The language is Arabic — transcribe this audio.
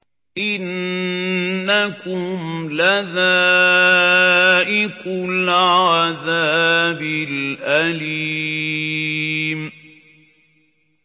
إِنَّكُمْ لَذَائِقُو الْعَذَابِ الْأَلِيمِ